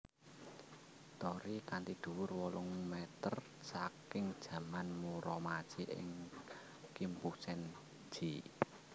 Torii kanthi dhuwur wolung meter saking zaman Muromachi ing Kimpusen ji